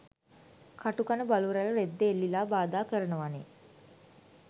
කටු කන බලු රැල රෙද්දෙ එල්ලිලා බාධා කරනවනෙ